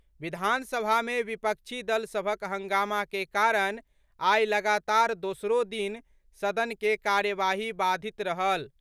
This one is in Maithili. विधानसभा मे विपक्षी दल सभक हंगामा के कारण आई लगातार दोसरो दिन सदन के कार्यवाही बाधित रहल।